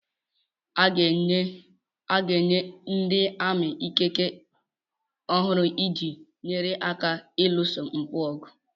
A ga-enye ndị ami ikike ọhụrụ iji nyere aka ịlụso mpụ ọgụ